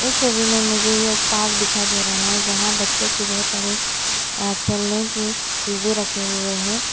इस छवि में मुझे एक पार्क दिखाई दे रहा है जहां बच्चों की बहुत सारी अ खेलने की चीजे रखे हुए है।